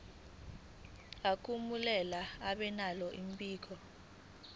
akumele babenalo mbiko